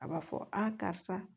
A b'a fɔ a karisa